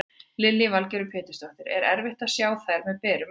Lillý Valgerður Pétursdóttir: Er erfitt að sjá þær með berum augum?